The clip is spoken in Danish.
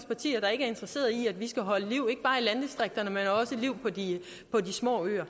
partier der ikke er interesseret i at vi skal holde liv i ikke bare landdistrikterne men også de små øer